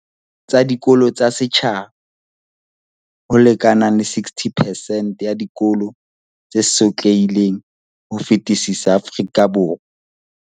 Tsa dikolo tsa setjhaba, ho lekanang le 60 percent ya dikolo tse sotlehileng ho fetisisa Afrika Borwa.